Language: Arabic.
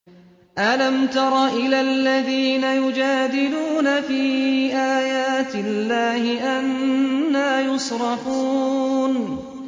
أَلَمْ تَرَ إِلَى الَّذِينَ يُجَادِلُونَ فِي آيَاتِ اللَّهِ أَنَّىٰ يُصْرَفُونَ